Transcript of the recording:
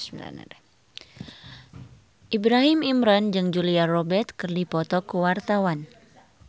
Ibrahim Imran jeung Julia Robert keur dipoto ku wartawan